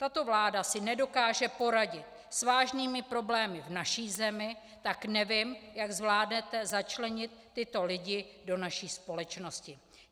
Tato vláda si nedokáže poradit s vážnými problémy v naší zemi, tak nevím, jak zvládnete začlenit tyto lidi do naší společnosti.